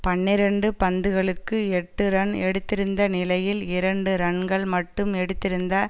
பன்னிரண்டு பந்துகளுக்கு எட்டு ரன் எடுத்திருந்த நிலையில் இரண்டு ரன்கள் மட்டும் எடுத்திருந்த